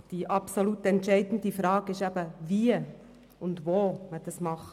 Doch die absolut entscheidende Frage ist eben, wie und wo man das tun will.